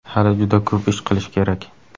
Hali juda ko‘p ish qilish kerak.